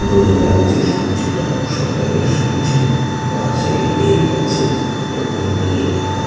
দোল লাগছে সূর্যটা সকালের সূর্য পাশে লেক আছে এবং নীল আকা-- ।